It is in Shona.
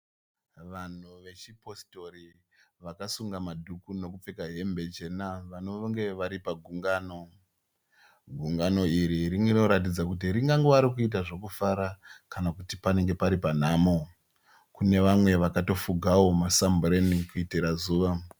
Vanhu vechipositori vakasunga madhuku nokupfeka hembe chena vanonge vari pagungano. Gungano iri rinoratidza kuti ringangove rekuita zvekufara kana kuti panenge pari panhamo. Kune vamwe vakatofugawo masambureni kuitira zuva.